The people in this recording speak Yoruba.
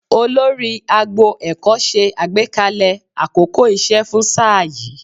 Olórí agbo ẹ̀kọ́ ṣe àgbékalẹ̀ àkókò iṣẹ́ fún sáà yìí